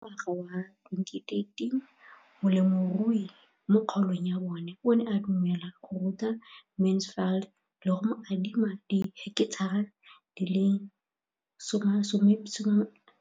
Ka ngwaga wa 2013, molemirui mo kgaolong ya bona o ne a dumela go ruta Mansfield le go mo adima di heketara di le 12 tsa naga.